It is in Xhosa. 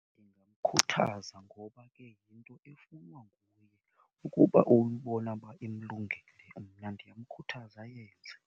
Ndingamkhuthaza ngoba ke yinto efunwa nguye. Ukuba uyibona uba imlungele mna ndiyamkhuthaza ayenze.